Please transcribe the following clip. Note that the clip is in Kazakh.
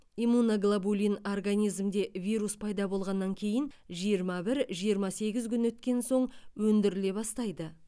иммуноглобулин организмде вирус пайда болғаннан кейін жиырма бір жиырма сегіз күн өткен соң өндіріле бастайды